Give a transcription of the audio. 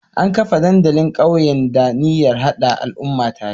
An kafa dandalin ƙauyen da niyyar hada al'umma tare